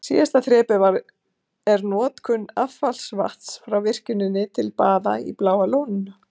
Síðasta þrepið er notkun affallsvatns frá virkjuninni til baða í Bláa lóninu.